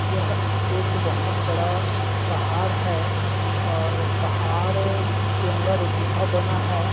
यह एक बहोत बड़ा पहाड़ है और पहाड़ के अंदर एक गुफा बना है।